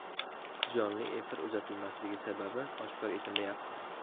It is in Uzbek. Jonli efir uzatilmasligi sababi oshkor etilmayapti.